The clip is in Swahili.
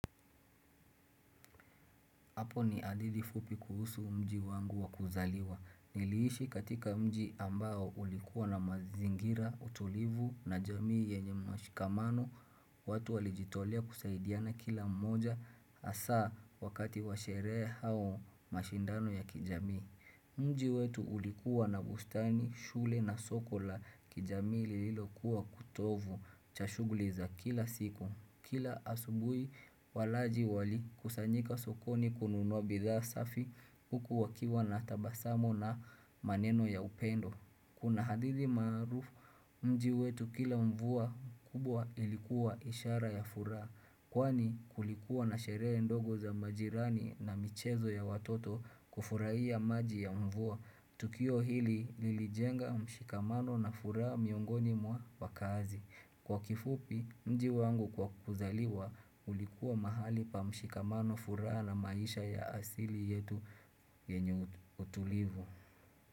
Hapo ni hadithi fupi kuhusu mji wangu wa kuzaliwa. Niliishi katika mji ambao ulikuwa na mazingira, utulivu na jamii yenye mashikamano, watu walijitolea kusaidiana kila mmoja hasa wakati wa sherehe au mashindano ya kijamii. Mji wetu ulikuwa na bustani, shule na soko la kijamii lililokuwa kutovu cha shughuli za kila siku. Kila asubuhi walaji wali kusanyika sokoni kununwa bidhaa safi huku wakiwa na tabasamu na maneno ya upendo. Kuna hadithi marufu, mji wetu kila mvua kubwa ilikuwa ishara ya furaha. Kwani kulikuwa na sherehe ndogo za majirani na michezo ya watoto kufurahia maji ya mvua Tukio hili lilijenga mshikamano na furaa miongoni mwa wakazi Kwa kifupi mji wangu kwa kuzaliwa ulikuwa mahali pa mshikamano furaha na maisha ya asili yetu yenye utulivu.